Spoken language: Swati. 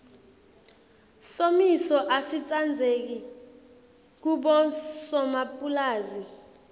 somiso asitsandzeki kubosomapulazi